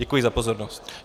Děkuji za pozornost.